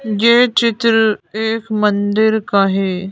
ये चित्र एक मंदिर का है।